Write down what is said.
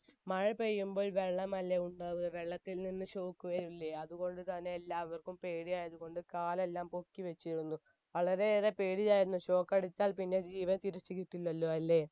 മഴ പെയ്യുംപ്പോൾ വെള്ളമല്ലേ ഉണ്ടാവുക വെള്ളത്തിൽ നിന്ന് shock വരില്ലേ അതുകൊണ്ട് തന്നെ എല്ലാവര്ക്കും പേടിയായത് കൊണ്ട് കാലെല്ലാം പൊക്കിവെച്ചിരുന്നു വളരെ ഏറെ പേടിയായിരുന്നു shock അടിച്ചാൽ പിന്നെ ജീവൻ തിരിച്ചു കിട്ടില്ലല്ലോ